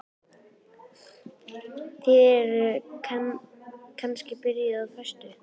Eruð þið kannski byrjuð á föstu?